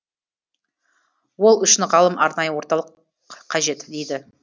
ол үшін ғалым арнайы орталық қажет дейді